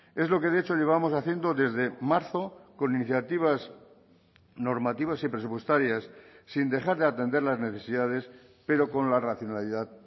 es lo que de hecho llevamos haciendo desde marzo con iniciativas normativas y presupuestarias sin dejar de atender las necesidades pero con la racionalidad